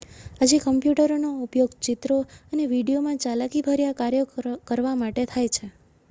આજે કમ્પ્યુટરોનો ઉપયોગ ચિત્રો અને વીડિયોમાં ચાલાકીભર્યા કાર્યો કરવા માટે થાય છે